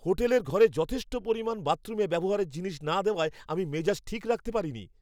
হোটেলের ঘরে যথেষ্ট পরিমাণে বাথরুমে ব্যবহারের জিনিস না দেওয়ায় আমি মেজাজ ঠিক রাখতে পারিনি।